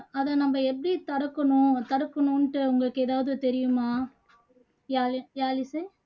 அதை எப்படி நம்ம தடுக்கணும் தடுக்கணுனுட்டு உங்களுக்கு எதாவது தெரியுமா யாழ் யாழிசை